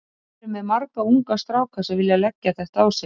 Við erum með marga unga stráka sem vilja leggja þetta á sig.